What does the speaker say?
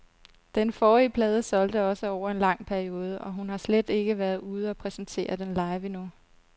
Den forrige plade solgte også over en lang periode, og hun har slet ikke været ude og præsentere den live endnu.